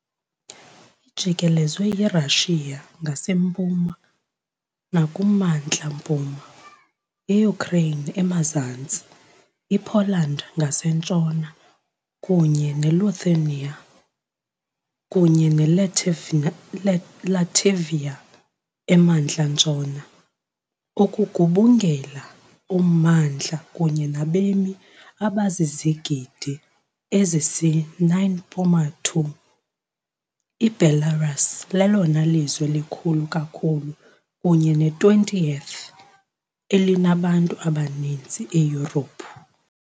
Ijikelezwe yiRussia ngasempuma nakumantla-mpuma, iUkraine emazantsi, iPoland ngasentshona, kunye neLithuania kunye neLatvia emantla-ntshona. Ukugubungela ummandla kunye nabemi abazizigidi ezisisi-9.2, iBelarus lelona lizwe likhulu kakhulu kunye ne- 20th-elinabantu abaninzi eYurophu.